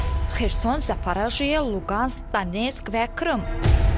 Xerson, Zaporojye, Luqansk, Donetsk və Krım Ukrayna əraziləridir.